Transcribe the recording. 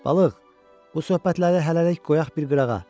Balıq, bu söhbətləri hələlik qoyaq bir qırağa.